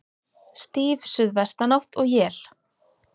Stíf suðvestanátt og él